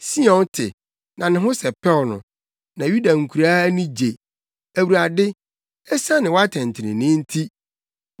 Sion te, na ne ho sɛpɛw no na Yuda nkuraa ani gye Awurade, esiane wʼatɛntrenee nti.